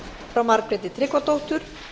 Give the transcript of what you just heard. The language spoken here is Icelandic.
frá margréti tryggvadóttur